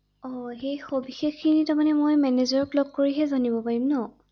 অ সেই সবিশেষ খিনি তাৰমানে মই মেনেজাৰক লগ কৰিহে জানিব পাৰিম৷